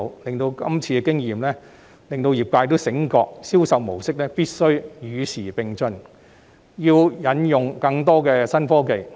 這次經驗令業界醒覺到銷售模式必須與時並進，要引用更多新科技。